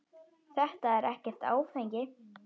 Þetta er ekkert áfengi.